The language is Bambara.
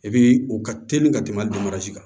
E bi u ka teli ka tɛmɛ kan